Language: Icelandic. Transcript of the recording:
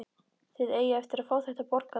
Þið eigið eftir að fá þetta borgað!